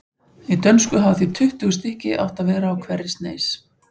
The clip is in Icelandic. Í dönsku hafa því tuttugu stykki átt að vera á hverri sneis.